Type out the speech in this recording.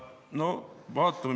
No vaatame.